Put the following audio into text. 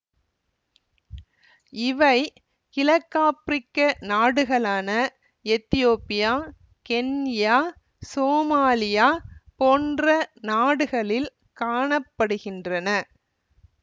இவை கிழக்காபிரிக்க நாடுகளான எதியோப்பியா கென்யா சோமாலியா போன்ற நாடுகளில் காண படுகின்றன